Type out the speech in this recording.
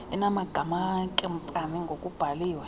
enamagama enkampani ngokubhalwe